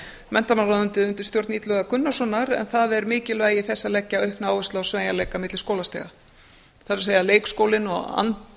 menntamálaráðuneytið undir stjórn illuga gunnarssonar en það er mikilvægi þess að leggja aukna áherslu á sveigjanleika milli skólastiga það er leikskólinn og